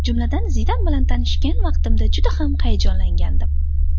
Jumladan, Zidan bilan tanishgan vaqtimda juda ham hayajonlangandim.